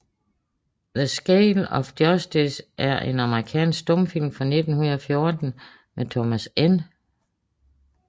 The Scales of Justice er en amerikansk stumfilm fra 1914 af Thomas N